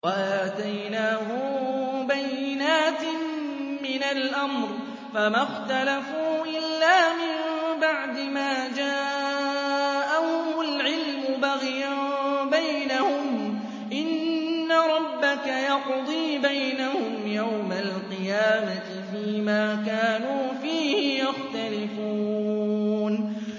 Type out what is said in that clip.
وَآتَيْنَاهُم بَيِّنَاتٍ مِّنَ الْأَمْرِ ۖ فَمَا اخْتَلَفُوا إِلَّا مِن بَعْدِ مَا جَاءَهُمُ الْعِلْمُ بَغْيًا بَيْنَهُمْ ۚ إِنَّ رَبَّكَ يَقْضِي بَيْنَهُمْ يَوْمَ الْقِيَامَةِ فِيمَا كَانُوا فِيهِ يَخْتَلِفُونَ